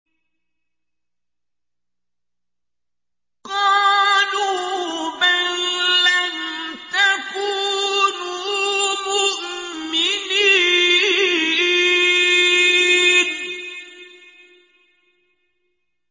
قَالُوا بَل لَّمْ تَكُونُوا مُؤْمِنِينَ